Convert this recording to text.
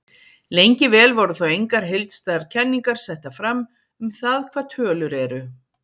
Lengi vel voru þó engar heildstæðar kenningar settar fram um það hvað tölur eru.